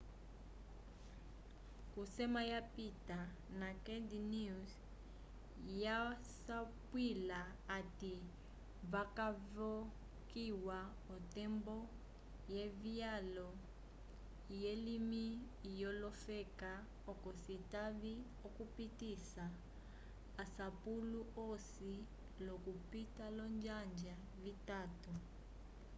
k'osema yapita naked news yasapwila hati vakavokiya otembo yevyalo lyelimi lyolofeka oco citave okupitisa asapulo osi l'okupita olonjanja vitatu